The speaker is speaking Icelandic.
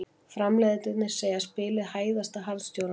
Framleiðendurnir segja spilið hæðast að harðstjórunum